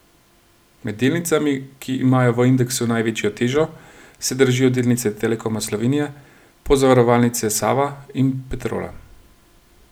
Med delnicami, ki imajo v indeksu največjo težo, se dražijo delnice Telekoma Slovenije, Pozavarovalnice Sava in Petrola.